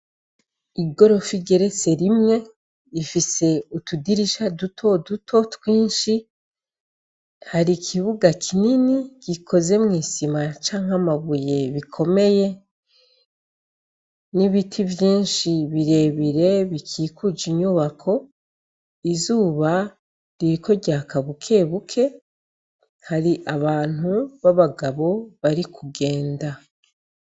Igorofa igeretse rimwe ifise utudirisha duto duto twinshi, har'ikibuga kinini gikozwe mw'isima cank'amabuye bikomeye, n'ibiti vyinshi birebire bikuje inyubako, izuba ririko ryaka bukebuke hari abantu bari kugenda.